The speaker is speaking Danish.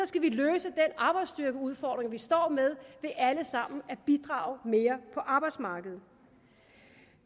skal vi løse den arbejdsstyrkeudfordring vi står med ved alle sammen at bidrage mere på arbejdsmarkedet